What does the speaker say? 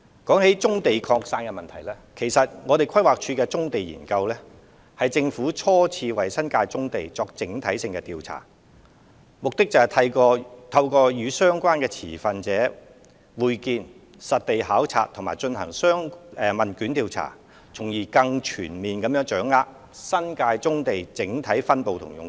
關於棕地擴散的問題，規劃署所作的《棕地研究》，其實是政府初次為新界棕地進行的整體性調查，目的是透過與相關持份者會面、實地考察和進行問卷調查，從而更全面掌握新界棕地的整體分布和用途。